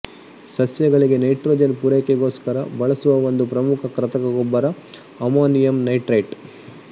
ಸಸ್ಯಗಳಿಗೆ ನೈಟ್ರೊಜನ್ ಪೂರೈಕೆಗೋಸ್ಕರ ಬಳಸುವ ಒಂದು ಪ್ರಮುಖ ಕೃತಕ ಗೊಬ್ಬರ ಅಮೋನಿಯಂ ನೈಟ್ರೈಟ್